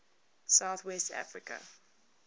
south west africa